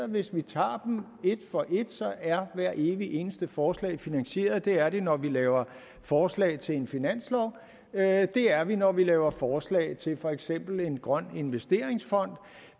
hvis vi tager dem et for et er hvert evigt eneste forslag finansieret det er det når vi laver forslag til en finanslov det er det når vi laver forslag til for eksempel en grøn investeringsfond